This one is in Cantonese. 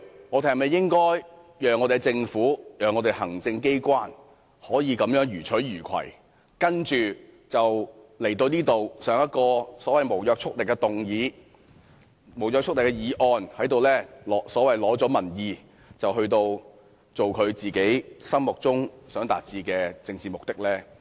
立法會應否讓政府、行政機關這樣予取予求，然後向立法會提出所謂的無約束力議案，在這裏取得所謂的民意，接着做其心目中想達致的政治目的？